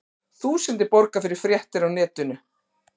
Þúsundir borga fyrir fréttir á netinu